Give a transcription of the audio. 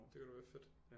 Det kunne da være fedt